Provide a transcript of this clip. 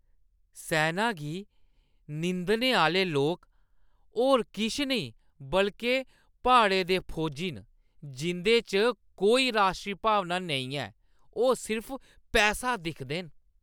सैना गी निंदने आह्‌ले लोक होर किश नेईं बल्के भाड़े दे फौजी न जिंʼदे च कोई राश्ट्री भावना नेईं ऐ। ओह् सिर्फ पैसा दिखदे न।